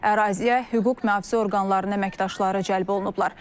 Əraziyə hüquq mühafizə orqanlarının əməkdaşları cəlb olunublar.